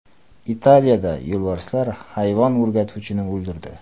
Italiyada yo‘lbarslar hayvon o‘rgatuvchini o‘ldirdi.